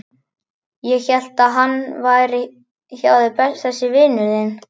Ég hélt að hann væri hjá þér þessi vinur þinn.